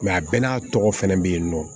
a bɛɛ n'a tɔgɔ fɛnɛ be yen nɔ